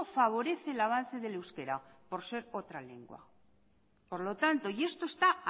favorece el avance del euskera por ser otra lengua y esto está